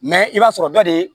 i b'a sɔrɔ dɔ de